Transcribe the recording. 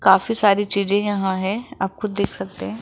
काफी सारी चीजे यहा है आप खुद देख सकते है।